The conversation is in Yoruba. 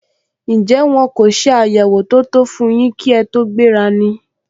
Njẹ́ wọ́n kò se àyẹwò tó tó fún yín kí ẹ tó gbéra ni?